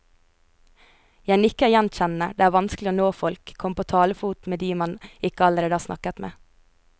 Jeg nikker gjenkjennende, det er vanskelig å nå folk, komme på talefot med de man ikke allerede har snakket med.